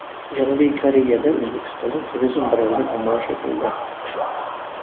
Janubiy Koreyada O‘zbekistonning turizm brendi namoyish etildi .